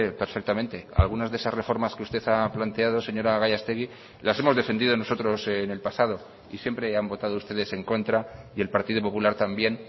perfectamente algunas de esas reformas que usted ha planteado señora gallastegui las hemos defendido nosotros en el pasado y siempre han votado ustedes en contra y el partido popular también